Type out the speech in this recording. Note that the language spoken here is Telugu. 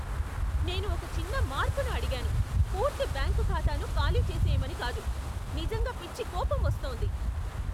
నేను ఒక చిన్న మార్పును అడిగాను, పూర్తి బ్యాంకు ఖాతాను ఖాళీచేసేయమని కాదు! నిజంగా పిచ్చి కోపం వస్తోంది.